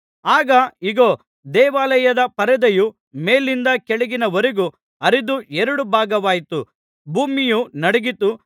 ಆಗ ಇಗೋ ದೇವಾಲಯದ ಪರದೆಯು ಮೇಲಿಂದ ಕೆಳಗಿನವರೆಗೂ ಹರಿದು ಎರಡು ಭಾಗವಾಯಿತು ಭೂಮಿಯು ನಡುಗಿತು